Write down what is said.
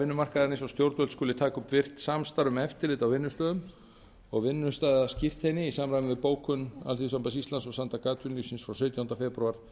vinnumarkaðarins og stjórnvöld skuli taka upp virkt samstarf á vinnustöðum og vinnustaðaskírteini í samræmi við bókun alþýðusamband íslands og samtök atvinnulífsins frá sautjándu febrúar